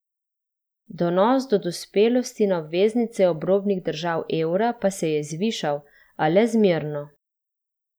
Donos do dospelosti na obveznice obrobnih držav evra pa se je zvišal, a le zmerno.